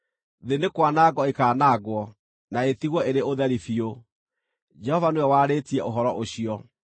Thĩ nĩ kwanangwo ĩkaanangwo na ĩtigwo ĩrĩ ũtheri biũ. Jehova nĩwe warĩtie ũhoro ũcio.